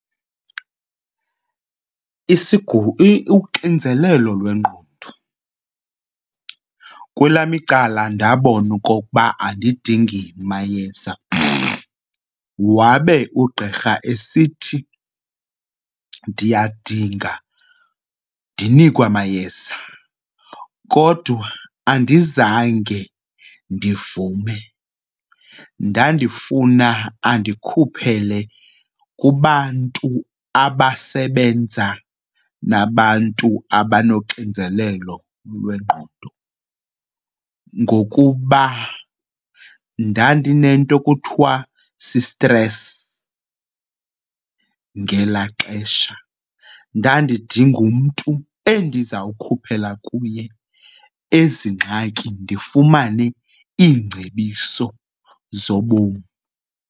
Uxinzelelo lwengqondo, kwelam icala ndabona okokuba andidingi mayeza wabe ugqirha esithi ndiyadinga, ndinikwe amayeza. Kodwa andizange ndivume, ndandifuna andikhuphele kubantu abasebenza nabantu abanoxinzelelo lwengqondo ngokuba ndandinento ekuthiwa sistresi ngelaa xesha. Ndandidinga umntu endizawukhuphela kuye ezi ngxaki, ndifumane iingcebiso zobomi.